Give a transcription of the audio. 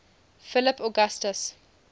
philip augustus